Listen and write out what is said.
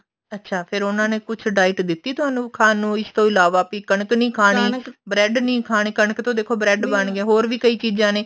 ਅੱਛਾ ਫੇਰ ਉਹਨਾ ਨੇ ਕੁੱਛ diet ਦਿੱਤੀ ਥੋਨੂੰ ਖਾਣ ਨੂੰ ਇਸ ਤੋਂ ਇਲਾਵਾ ਵੀ ਕਣਕ ਨੀ ਖਾਣੀ bread ਨੀ ਖਾਣੀ ਕਣਕ ਤੋਂ ਦੇਖੋ bread ਬਣਗੇ ਹੋਰ ਵੀ ਕਈ ਚੀਜ਼ਾਂ ਨੇ